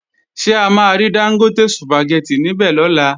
Ṣé a máa rí Dángótè Sùpàgẹ́tì níbè lọ́la?